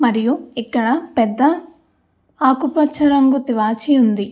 మరియు ఇక్కడ పెద్ద ఆకూ పచ్చ రంగు తివాచి ఉంది.